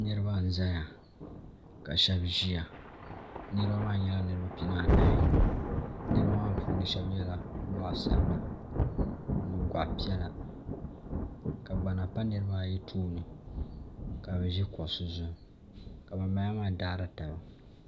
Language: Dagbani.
Niribi n ʒɛya ka shɛb ʒiya nirib maa niribi nyɛla niribi pianaa anahi niribi maa puuni shɛb yɛla liiga piɛla ka shɛb yɛ liiga ʒɛkini goɣi ni piɛla ka gbana pa niribi baa ayi tooni ka bɛ ʒi kuɣi ka ban balaamaa daari taba